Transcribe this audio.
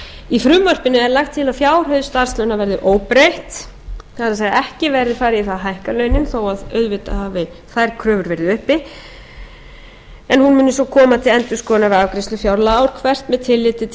í frumvarpinu er lagt til að fjárhæð starfslauna verði óbreytt það er að ekki verði farið í það að hækka launin þó að auðvitað hafi þær kröfur verið uppi en hún muni svo koma til endurskoðunar við afgreiðslu fjárlaga að teknu tilliti til þróunar launa verðlags og